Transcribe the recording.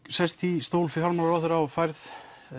sest í stól fjármálaráðherra og færð